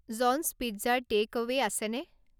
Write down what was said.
John's পিজ্জাৰ takeaway আছেনে